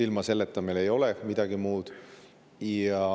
Ilma selleta ei ole midagi muud.